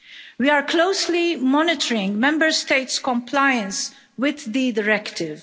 We are closely monitoring Member States' compliance with the directive.